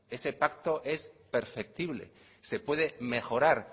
ese pacto es perceptible se puede mejorar